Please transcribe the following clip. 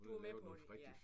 Du er med på det ja